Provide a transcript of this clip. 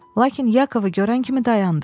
Lakin Yakovu görən kimi dayandı.